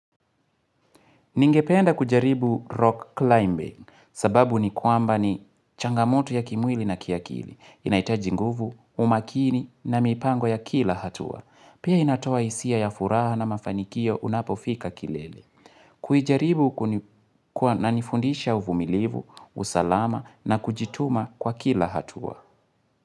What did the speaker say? Ningependa kujaribu rock climbing sababu ni kwamba ni changamoto ya kimwili na kiakili. Inahitaji nguvu, umakini na mipango ya kila hatua. Pia inatoa hisia ya furaha na mafanikio unapofika kilele. Kuijaribu inanifundisha uvumilivu, usalama na kujituma kwa kila hatua.